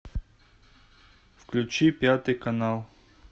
включи пятый канал